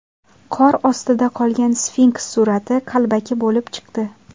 Qor ostida qolgan sfinks surati qalbaki bo‘lib chiqdi.